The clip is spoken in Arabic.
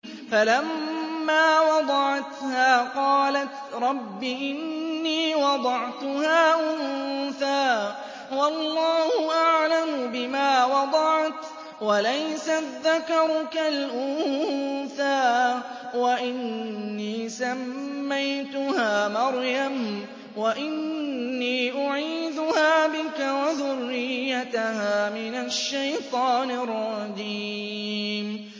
فَلَمَّا وَضَعَتْهَا قَالَتْ رَبِّ إِنِّي وَضَعْتُهَا أُنثَىٰ وَاللَّهُ أَعْلَمُ بِمَا وَضَعَتْ وَلَيْسَ الذَّكَرُ كَالْأُنثَىٰ ۖ وَإِنِّي سَمَّيْتُهَا مَرْيَمَ وَإِنِّي أُعِيذُهَا بِكَ وَذُرِّيَّتَهَا مِنَ الشَّيْطَانِ الرَّجِيمِ